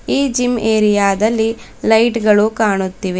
ಈ gym area ದಲ್ಲಿ light ಗಳು ಕಾಣುತ್ತಿವೆ.